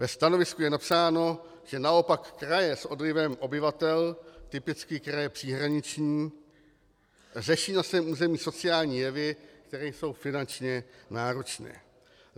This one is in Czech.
Ve stanovisku je napsáno, že naopak kraje s odlivem obyvatel, typicky kraje příhraniční, řeší na svém území sociální jevy, které jsou finančně náročné.